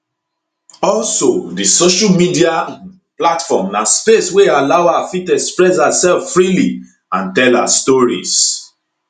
also di social media um platform na space wey allow her fit express herself freely and tell her stories